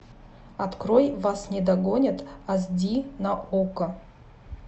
открой вас не догонят ас ди на окко